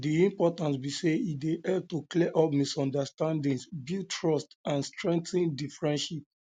di um importance be say e dey help to clear up misunderstandings build um trust and strengthen di friendship um